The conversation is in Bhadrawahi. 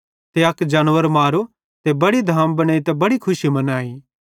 ते अक जानवर मारो ते बड़ी धाम बनेइतां बड़ी खुशी मनाई